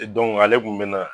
ale kun mina